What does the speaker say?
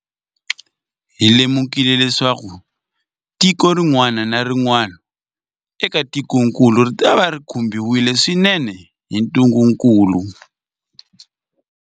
Hi lemukile leswaku tiko rin'wana na rin'wana eka tikokulu ritava ri khumbiwile swinene hi ntungukulu.